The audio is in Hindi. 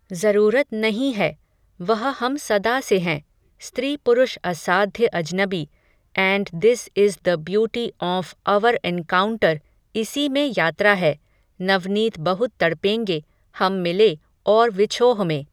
ज़रूरत नहीं है, वह हम सदा से हैं, स्त्रीपुरुष असाध्य अजनबी, and this is the beauty of our encounter, इसी में यात्रा है, नवनीत बहुत तड़पेंगे, हम मिले, और विछोह में